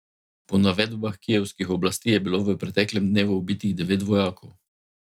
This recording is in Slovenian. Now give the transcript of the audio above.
Po navedbah kijevskih oblasti je bilo v preteklem dnevu ubitih devet vojakov.